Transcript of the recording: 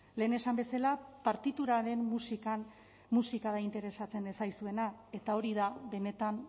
lehen esan bezala partituraren musikan musika da interesatzen ez zaizuena eta hori da benetan